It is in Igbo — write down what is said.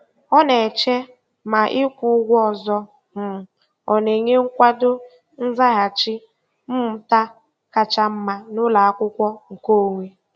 Ọ na-eche ma ịkwụ ụgwọ ọzọ um ọ na-enye nkwado nzaghachi mmụta kacha mma n'ụlọakwụkwọ nke onwe.